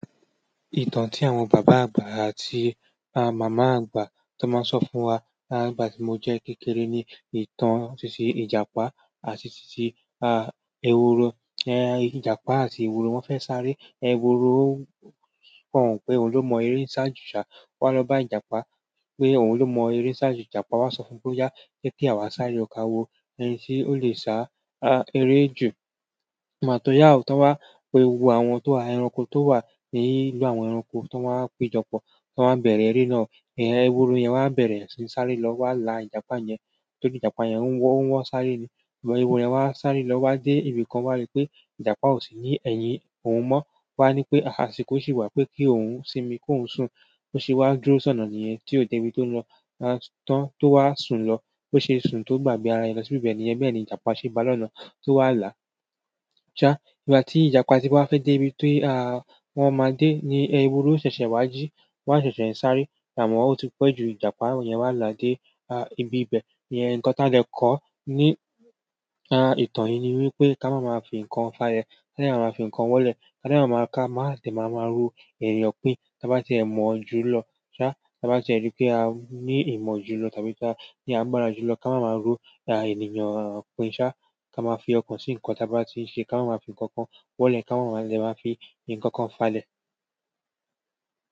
Ìtàn tí àwọn bàbá àgbà àti àwọn màmá àgbà tí wọ́n máa ń sọ fún wa nígbà tí mo jẹ́ kékeré ni ìtàn títí Ìjàpá àti ṣíṣí Eworo. Ìjàpá àti Eworo wọ́n fẹ́ sáré. Eworo kàn pé òun ló mọ eré ṣáájú ṣà, o wá lọ bá Ìjàpá pé òun ló mọ eré ṣáájú Ìjàpá wá sọ fún pé oya je kí àwa sáré kà wo ẹni tí ó lè sá eré jù. Ìgbà tó yá ò tán wá pé gbogbo àwọn tó wa ẹranko tó wà ní ìlú àwọn ẹranko tó wa ń pe jọpọ̀ tó wá ń bẹ̀rẹ̀ eré náà, eworo yẹn wá bẹ̀rẹ̀ sin sáré lọ wá la Ìjàpá yẹn, tóri Ìjàpá yẹn o wọ́ wọ́ sáré ni. Eworo yẹn wá sáré lọ wá dé ibi kan wá rí pé Ìjàpá ò sì ní ẹ̀yin òun mọ́. O wá ní pé àsìkò ṣì wà pé kí ohun sinmi ko ohun sùn. Ó ṣe wá dúró sọnà ni yẹn tí ó dé ibi tó lọ tán tó wá sùn lọ. Ó ṣe sùn tó gbàgbé ara rẹ lọ sí ibẹ̀ ni yẹn. Bẹ́ẹ̀ ni Ìjàpá ṣe bá lọ́nà tó wà la. Sá ìgbà tí Ìjàpá ti bá fẹ́ dé ibi tó wọ́n máa dé ni eworo ṣẹ̀ṣẹ̀ wá jí, wá ṣẹ̀ṣẹ̀ ń sáré, amò ọ̀ti pẹ́ jù Ìjàpá yẹn wá la dé ibi ibẹ̀. Ìyẹn nǹkan tí a dè kọ́ ní ìtàn yìí ni wípé ká máa máa fi ǹkan fá lẹ̀, ki èèyàn máa fi ǹkan wọlé, ká máa máa ka, máa sì máa máa ro èèyàn pín. Tábá tí ẹ mọ̀ọ́ jù lọ sá, tábá tí ẹ rí pé a ní ìmọ̀ jù lọ tàbí tí a ní agbára jù lọ ká máa máa ro ènìyàn pín. Sá, ká máa fi ọkàn sí nǹkan tábá tí ń ṣe, ká máa máa fi ǹkankan wọlé, ká máa máa le máa fi ǹkankan fá lẹ̀.